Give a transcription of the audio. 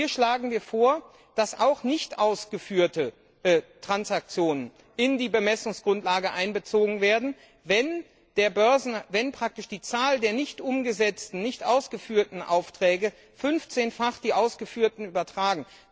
Hier schlagen wir vor, dass auch nicht ausgeführte Transaktionen in die Bemessungsgrundlage einbezogen werden, wenn praktisch die Zahl der nicht umgesetzten, nicht ausgeführten Aufträge fünfzehnfach die ausgeführten übersteigt.